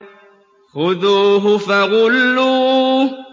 خُذُوهُ فَغُلُّوهُ